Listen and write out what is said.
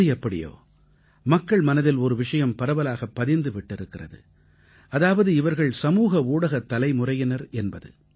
எது எப்படியோ மக்கள் மனதில் ஒரு விஷயம் பரவலாகப் பதிந்து விட்டிருக்கிறது அதாவது இவர்கள் சமூக ஊடகத் தலைமுறையினர் என்பது